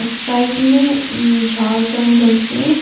Side में झाड़ जंगल है।